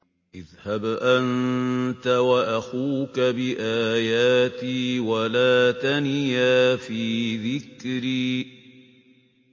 اذْهَبْ أَنتَ وَأَخُوكَ بِآيَاتِي وَلَا تَنِيَا فِي ذِكْرِي